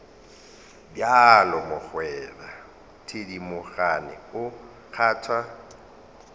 bjalo mogwera thedimogane o kgwatha